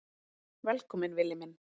Velkominn Villi minn.